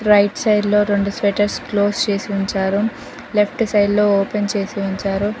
Right side లో రెండు sweaters close చేసి ఉంచారు. లెఫ్ట్ సైడ్ లో ఓపెన్ చేసి ఉంచారు.